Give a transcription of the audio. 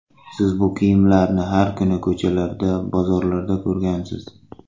Siz bu kiyimlarni har kuni ko‘chalarda, bozorlarda ko‘rgansiz.